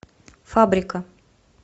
фабрика